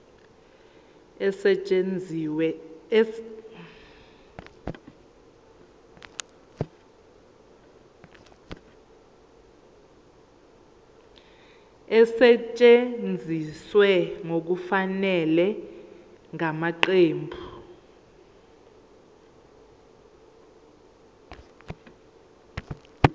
esetshenziswe ngokungafanele ngamaqembu